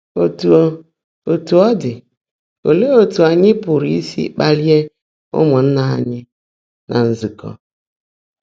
Ótú ó Ótú ó ḍị́, óleé ótú ányị́ pụ́rụ́ ísi kpaàlị́é ụ́mụ́nnaá ányị́ ná nzụ́kọ́?